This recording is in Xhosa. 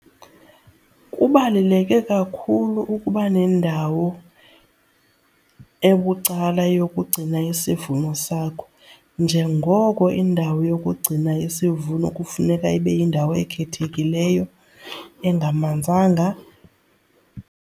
Kubaluleke kakhulu ukuba nendawo ebucala yokugcina isivuno sakho njengoko indawo yokugcina isivuno kufuneka ibe yindawo ekhethekileyo engamanzanga.